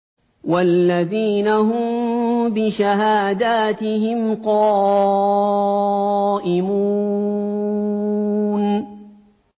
وَالَّذِينَ هُم بِشَهَادَاتِهِمْ قَائِمُونَ